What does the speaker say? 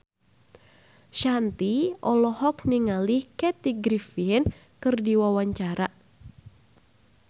Shanti olohok ningali Kathy Griffin keur diwawancara